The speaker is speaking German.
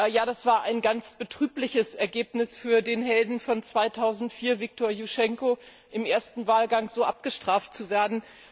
Ja, das war ein ganz betrübliches Ergebnis für den Helden 2004, Viktor Juschtschenko, im ersten Wahlgang so abgestraft zu werden.